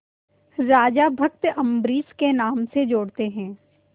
राजा भक्त अम्बरीश के नाम से जोड़ते हैं